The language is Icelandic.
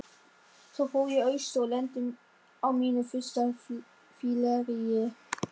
Svo fór ég austur og lenti á mínu fyrsta fylleríi.